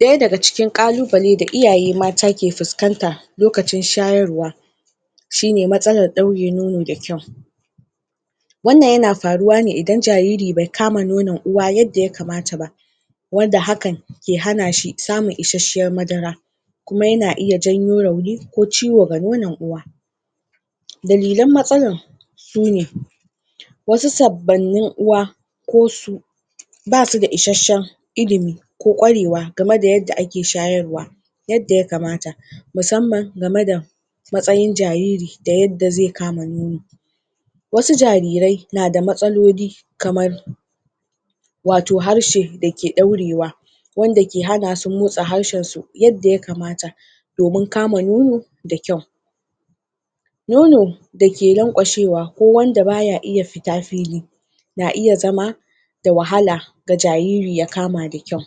daya daga cikin kalubale da iyaye mata ke fiskanta lokacin shayarwa shi ne masalar daure nono da kyau wannan yana faruwa ne idan jariri bai kama nonon uwa yadda ya kamata ba wanda hakan ke hana shi samun isashshiyar madara kuma yana iya janyo rauni ko ciwo ga nonan uwa dalilan matsalan shi ne wasu sabbannin uwa ko su ba su da isashshen ilimi ko kwarewa gamai da yadda ake shayarwa yadda ya kamata musamman gamai da matsayin jariri da yadda zai kama nono wasu jarire na da matsalooli kamar wato harshe da ke daurewa wanda ke hanasu motsa harshen su yadda ya kamata domin kama nono da kyau nono da ke lankwashewa ko ba ya iya fita fili na iya zama da wahala ga jariri ya kama da kyau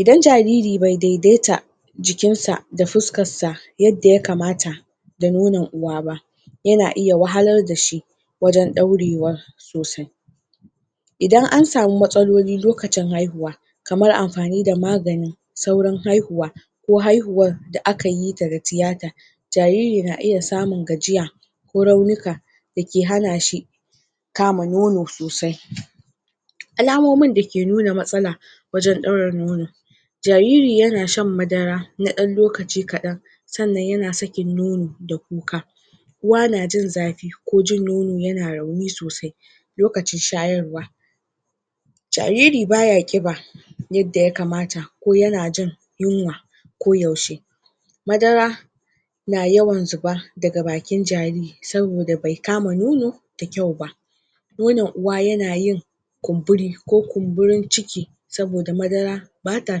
idan jariri bai dai-daita jikinsa da fiskansa yadda ya kamata da nonon uwa ba yana iya wahalar da shi wajan daurewa sosai idan an samu matsaloli lokacin haihuwa kar amfani da magani saurin haihuwa ko haihuwar da akayita da tiyata jariri na iya samun gajiya ko i ko raunuka da ke hana shi kama nono sosai alamomin da ke nuna matsala wajan daura nono jariri yana shan madara na dan lokaci kadan sannan yana sakin nono da kuka uwa na jin zafi ko jin nono yana rauni sosai lokacin shayarwa jariri baya kiba yadda ya kamata ko yana jin yunwa koda yaushe madara na yawan zuba daga bakin jariri saboda be kama nono da kyauba nonon uwa yana yin kumburi ko kumburin ciki saboda madara bata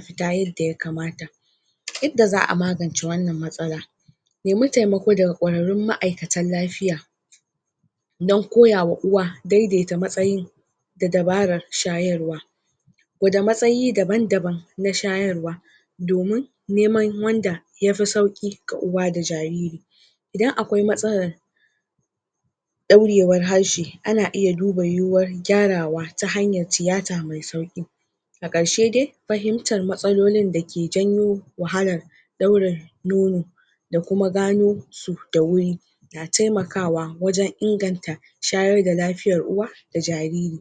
fita yadda ya kamata yadda za a magance wannan matsalar nemi temako daga kwararun ma'iykatun lafiya dan koyawa uwa dai-daita matsayin da dabarar shayarwa gwada matsayi daban-daban na shayarwa domin neman wanda ya fi sauki ga uwa da jariri idan akwai matsalar daurewar harshe ana iya duba yuyuwar gyarawa ta hanyar tiyata mai tsawo a garshe dai fahimtar matsalolin da ke janyo wahalar daurin nono da kuma gano su da wuri yana temakawa wajan inganta shayar da lafiyar uwa da jariri